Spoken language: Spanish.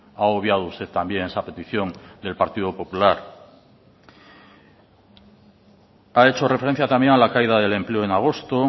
ha obviado usted también esa petición del partido popular ha hecho referencia también a la caída del empleo en agosto